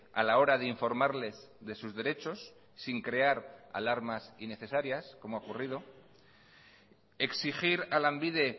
a la hora de informarles de sus derechos sin crear alarmas innecesarias como ha ocurrido exigir a lanbide